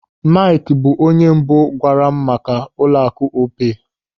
Maịkị bụ onye mbụ gwaara m maka ụlọaku Opay.